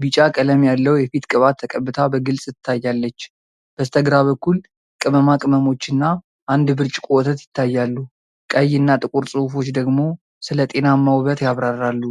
ቢጫ ቀለም ያለው የፊት ቅባት ተቀብታ በግልፅ ትታያለች። በስተግራ በኩል ቅመማ ቅመሞችና አንድ ብርጭቆ ወተት ይታያሉ፤ ቀይ እና ጥቁር ጽሑፎች ደግሞ ስለ 'ጤናማ ውበት' ያብራራሉ።